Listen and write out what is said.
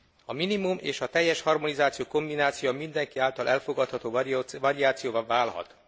A minimum és a teljes harmonizáció kombinációja mindenki által elfogadható variációvá válhat.